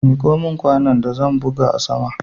Miko min kwanon da zan buga a sama